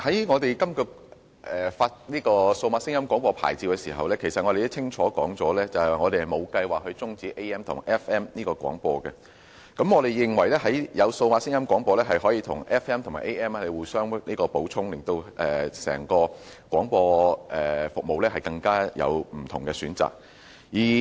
我們在發出數碼廣播牌照時，其實已經清楚指出，我們沒有計劃終止 AM/FM 模擬聲音廣播服務，我們認為數碼廣播可以與 AM 及 FM 互相補充，提供不同的廣播服務選擇。